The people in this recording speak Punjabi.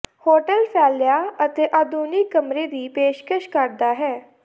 ਹੋਟਲ ਫੈਲਿਆ ਅਤੇ ਆਧੁਨਿਕ ਕਮਰੇ ਦੀ ਪੇਸ਼ਕਸ਼ ਕਰਦਾ ਹੈ